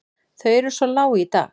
Þau eru svo lág í dag.